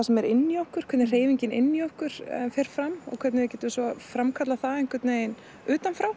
sem er inni í okkur hvernig hreyfingin inni í okkur fer fram og hvernig við getum svo framkallað það einhvern veginn utan frá